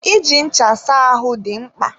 Iji ncha saa ahụ dị mkpa.